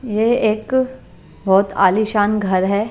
यह एक बहुत आलीशान घर है।